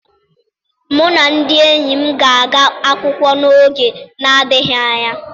Mụ na ndị enyi m ga-aga akwụkwọ n'oge na-adịghị anya.